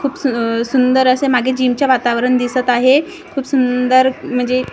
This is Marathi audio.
खूप सु सुंदर असे मागे जीमचे वातावरण दिसत आहे खूप सुंदर म्हणजे--